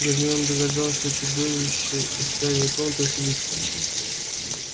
гермиона догадалась что чудовище из тайной комнаты василиск